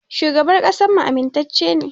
Shugaban ƙasarmu amintacce ne.